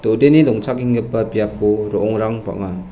do·deni dongchakenggipa biapo ro·ongrang bang·a.